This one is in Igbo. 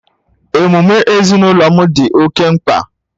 Emume ezinụlọ m dị oke mkpa